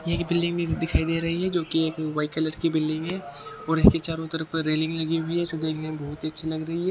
ये एक बिल्डिंग दिखाई दे रही है जो कि एक व्हाइट कलर की बिल्डिंग है और इनके चारों तरफ रेलिंग लगी हुई है जो देखने में बहुत ही अच्छी लग रही है।